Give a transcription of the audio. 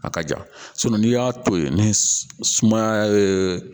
A ka ja n'i y'a to yen ni sumaya